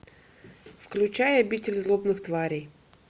включай обитель злобных тварей